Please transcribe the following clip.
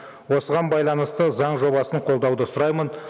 осыған байланысты заң жобасын қолдауды сұраймын